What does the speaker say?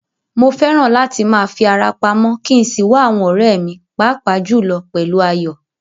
Mo fẹ́ràn láti máa fi ara pamọ́ kí n sì wá àwọn ọ̀rẹ́ mi, pàápàá jùlọ pẹ̀lú Ayọ̀.